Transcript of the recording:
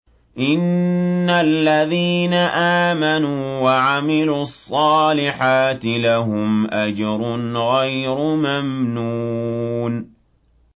إِنَّ الَّذِينَ آمَنُوا وَعَمِلُوا الصَّالِحَاتِ لَهُمْ أَجْرٌ غَيْرُ مَمْنُونٍ